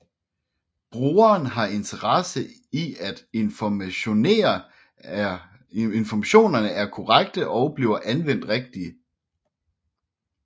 Brugeren har interesse i at informationerne er korrekte og bliver anvendt rigtigt